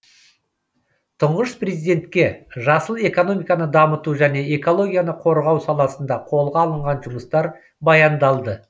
тұңғыш президентке жасыл экономиканы дамыту және экологияны қорғау саласында қолға алынған жұмыстар баяндалды